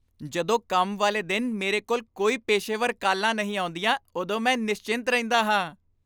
ਜਦੋਂ ਕੰਮ ਵਾਲੇ ਦਿਨ ਮੇਰੇ ਕੋਲ ਕੋਈ ਪੇਸ਼ੇਵਰ ਕਾਲਾਂ ਨਹੀਂ ਆਉਂਦੀਆਂ ਉਦੋਂ ਮੈਂ ਨਿਸਚਿੰਤ ਰਹਿੰਦਾ ਹਾਂ।